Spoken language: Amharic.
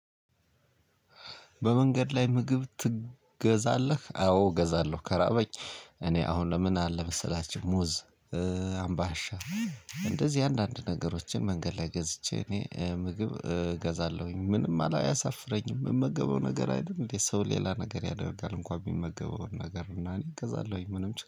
በመንገድ ላይ ምግብ ትገዛለህ? አዎ እገዛለሁ ከራበኝ። እኔ አሁን ለምን አለ መሰላችሁ? ሙዝ አምባሻ። እንደዚህ አንዳንድ ነገሮችን መንገድ ላይ ገዝቼ እኔ ምግብ እገዛለሁኝ ምንም አያሳፍረኝም። እምመገበው ነገር አደለ እንዴ ሰው ሌላ ነገር ያደርጋል እንኮን የሚመገበውን ነገር እና እኔ እገዛለሁኝ ምንም ችግር